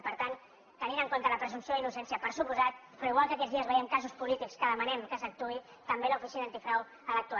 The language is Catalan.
i per tant tenint en compte la presumpció d’innocència per descomptat però igual que aquests dies veiem casos polítics en què demanem que s’actuï també l’oficina antifrau ha d’actuar